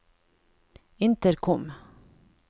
intercom